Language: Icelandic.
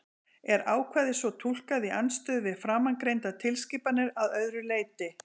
Er ákvæðið svo túlkað í andstöðu við framangreindar tilskipanir að öðru leyti?